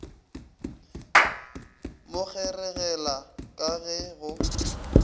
mo kgeregela ka ge go